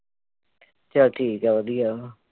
ਚੱਲ ਠੀਕ ਆ ਵਧੀਆ